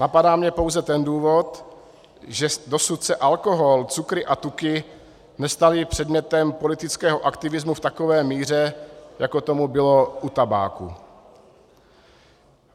Napadá mě pouze ten důvod, že dosud se alkohol, cukry a tuky nestaly předmětem politického aktivismu v takové míře, jako tomu bylo u tabáku.